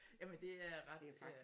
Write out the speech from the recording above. Men det er ret ja